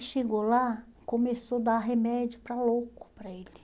E chegou lá, começou a dar remédio para louco para ele.